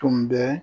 Tun bɛ